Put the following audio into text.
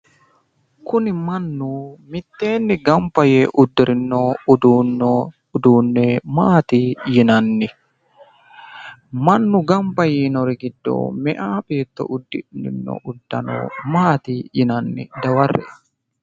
kuni mannu mitteenni gamba yee uddirino uduunni maati yinanni mannu gamba yiinori giddo meyaa beetto uddano maati yinanni? dawarre''e.